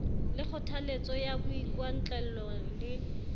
le kgothaletso ya boikgwantlello le